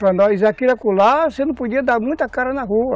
Para nós aqui e acolá, você não podia dar muita cara na rua.